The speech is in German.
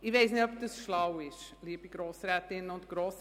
Ich weiss nicht, ob das schlau ist, liebe Grossrätinnen und Grossräte.